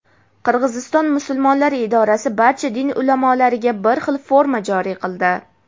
Qirg‘iziston musulmonlari idorasi barcha din ulamolariga bir xil forma joriy qildi.